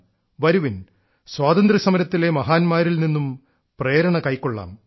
വരുവിൻ സ്വാതന്ത്ര്യസമരത്തിലെ മഹാന്മാരിൽ നിന്നും പ്രേരണകൈകൊള്ളാം